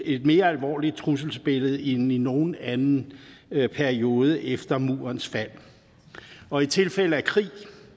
et mere alvorligt trusselsbillede end i nogen anden periode efter murens fald og i tilfælde af krig